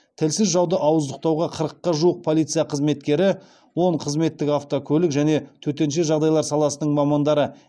тілсіз жауды ауыздықтауға қырыққа жуық полиция қызметкері он қызметтік автокөлік және төтенше жағдайлар саласының мамандары